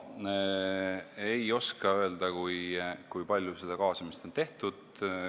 Ei oska öelda, kui palju seda kaasamist on olnud.